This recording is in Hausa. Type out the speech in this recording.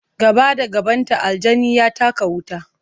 Gaba da gabanta, aljani ya taka wuta.